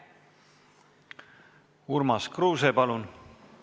Urmas Kruuse, palun!